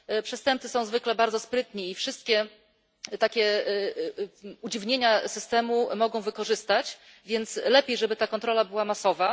Przestępcy są zwykle bardzo sprytni i wszystkie takie udziwnienia systemu mogą wykorzystać, więc lepiej, żeby ta kontrola była masowa.